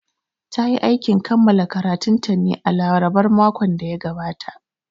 Ta yi aikin kammala karatunta ne a larabar makon da ya gabata